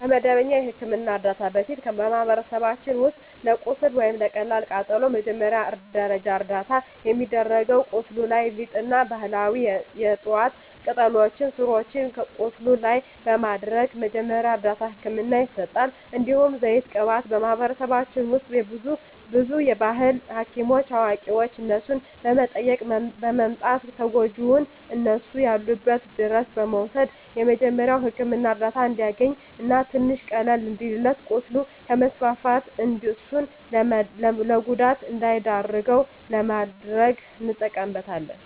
ከመደበኛ የሕክምና ዕርዳታ በፊት፣ በማኅበረሰባችን ውስጥ ለቁስል ወይም ለቀላል ቃጠሎ መጀመሪያ ደረጃ እርዳታ የሚደረገው ቁስሉ ላይ ሊጥ እና ባህላዊ የዕፅዋት ቅጠሎችን ስሮችን ቁስሉ ላይ በማድረግ መጀመሪያ እርዳታ ህክምና ይሰጣል። እንዲሁም ዘይት ቅባት በማህበረሰባችን ውስጥ ብዙ የባህል ሀኪሞች አዋቂዋች እነሱን በመጠየቅ በማምጣት ተጎጅውን እነሱ ያሉበት ድረስ በመውሰድ የመጀሪያዉ ህክምና እርዳታ እንዲያገኝ እና ትንሽ ቀለል እንዲልለት ቁስሉ ከስፋፋት እሱን ለጉዳት እንዳይዳርገው ለማድረግ እንጠቀምበታለን።